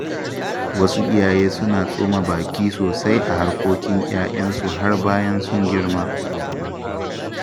Wasu iyaye suna tsoma baki sosai a harkokin ‘ya’yansu har bayan sun girma.